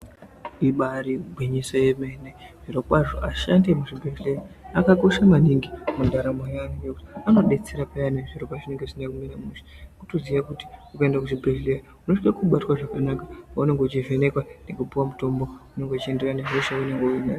Ibari gwinyiso remene zviro kwazvo vashandi vemuzvibhedhlera zvakakosha maningi mundaramo yevantu ngekuti vanodetsera payani zviro pazvinenge zvisina kumira mushe wotoziva kuti ukaenda kuchibhedhlera unosisa kubatwa zvakanaka paunenge uchivhenekwa Nekupuwa mutombo unenge uchinderana nehosha yaunenge unayo.